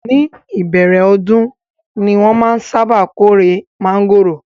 Ní ìbẹ̀rẹ̀ ọdún ni wọ́n máa ń sábà kórè mángòrò